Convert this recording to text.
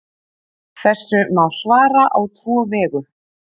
Þessu má svara á tvo vegu.